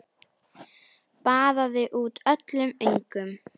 Baðaði út öllum öngum.